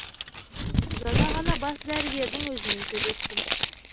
жаңа ғана бас дәрігердің өзімен сөйлестім